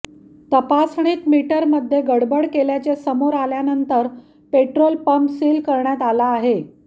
तपासणीत मीटर मध्ये गडबड केल्याचे समोर आल्यानंतर पेट्रोल पंप सील करण्यात आला आहे